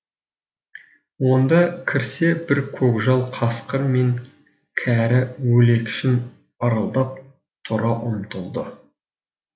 онда кірсе бір көкжал қасқыр мен кәрі өлекшін ырылдап тұра ұмтылды